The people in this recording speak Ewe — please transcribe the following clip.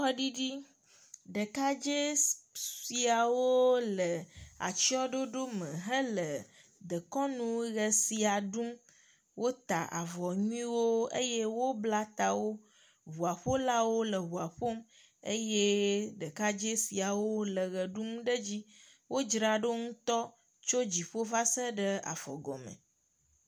Kɔɖiɖi, eɖkadze siawo le atsyɔɖoɖo me hele dekɔnu ʋe sia ɖum. Wota avɔ nyuiwo eye wobla tawo. Ŋua ƒolawo le ŋua ƒom eye ɖeka dze siawo le eʋe ɖum ɖe edzi. Wodzra ɖo ŋutɔ tso dziƒo va se ɖe afɔgɔme.